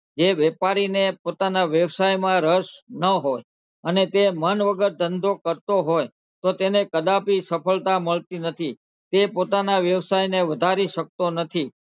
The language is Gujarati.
જે વેપારીને પોતાનાં વ્યવસાયમાં રસ નાં હોય અને તે મન વગર ધંધો કરતો હોય તો તેને કદાપી સફળતાં મળતી નથી તે પોતાનાં વ્યસાયને વધારી શકતો નથી.